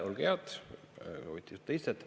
Olge head, võtke istet!